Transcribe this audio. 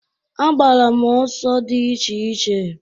Agbara m ọsọ dị iche iche.